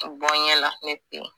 O bɔn ɲɛla ne te yen